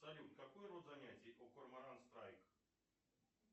салют какой род занятий у корморан страйк